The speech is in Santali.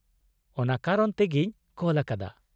ᱚᱱᱟ ᱠᱟᱨᱚᱱ ᱛᱮᱜᱤᱧ ᱠᱚᱞ ᱟᱠᱟᱫᱟ ᱾